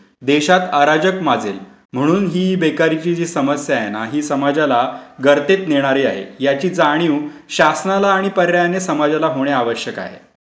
देशात अराजक माजेल. म्हणून ही जी बेकारीची समस्या आहे ना, ही समाजाला गर्तेत नेणारी आहे. याची जाणीव शासनाला आणि पर्यायाने समाजाला होणे आवश्यक आहे.